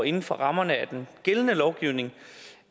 inden for rammerne af den gældende lovgivning